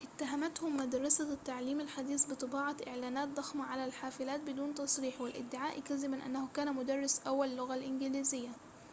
اتهمته مدرسة التعليم الحديث بطباعة إعلانات ضخمة على الحافلات بدون تصريح والادعاء كذبًا أنه كان مدرس أول اللغة الإنجليزية